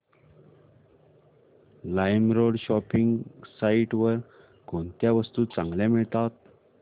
LimeRoad shopping site वर कोणत्या वस्तू चांगल्या मिळतात